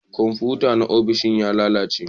Komfuta na ofis ya lalace